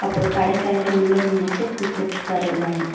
அப்ரோ கடைக்காரர் உள்ள நின்னுட்டு குடுத்துட்டுருக்காரு எல்லாமே.